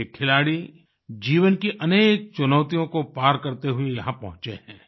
ये खिलाड़ी जीवन की अनेक चुनौतियों को पार करते हुए यहाँ पहुंचे हैं